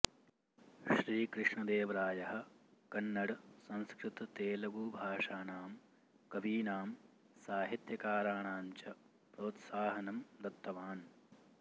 श्रीकृष्णदेवरायः कन्नड संस्कृततेलुगु भाषानाम् कवीनाम् साहित्यकाराणां च प्रोत्साहनम् दत्तवान्